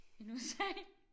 End USA